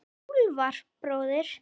Úlfar bróðir.